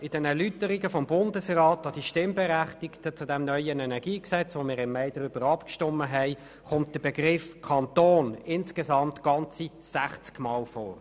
In den Erläuterungen des Bundesrats an die Stimmberechtigten zum neuen EnG, über welches wir im Mai abgestimmt haben, kommt der Begriff «Kanton» insgesamt sechzigmal vor.